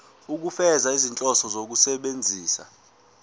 ukufeza izinhloso zokusebenzisa